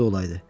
olaydı.